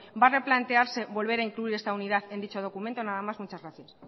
va a replantearse volver a incluir esta unidad en dicho documento nada más muchas gracias